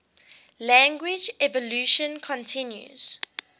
language evolution continues